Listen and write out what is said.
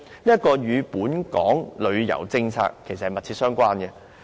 這與本港的旅遊政策密切相關。